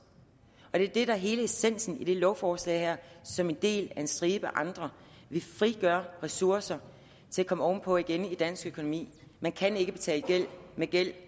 det er det der er hele essensen i det lovforslag her som en del af en stribe andre vi frigør ressourcer til at komme ovenpå igen i dansk økonomi man kan ikke betale gæld med gæld